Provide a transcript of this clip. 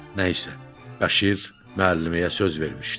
Nəysə, Bəşir müəlliməyə söz vermişdi.